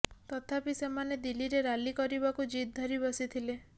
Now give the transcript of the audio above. ତଥାପି ସେମାନେ ଦିଲ୍ଲୀରେ ରାଲି କରିବାକୁ ଜିଦ୍ ଧରି ବସିଥିଲେ